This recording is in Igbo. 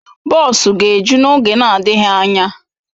Bọs ga-eju n'oge na-adịghị anya.